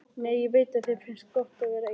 Nei, ég veit að þér finnst gott að vera ein.